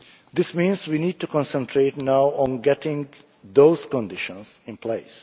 This means we now need to concentrate on getting those conditions in place.